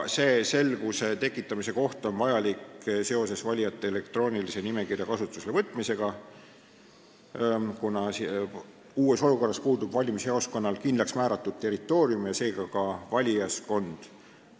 See selguse tekitamine on vajalik seoses elektroonilise valijate nimekirja kasutusele võtmisega, kuna uues olukorras puudub valimisjaoskonnal kindlaksmääratud territoorium ja seega ka valijaskond.